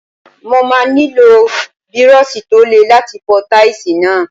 Mo máa nílò Bírọ́ọ̀ṣì tó le láti fọ táìsì náà.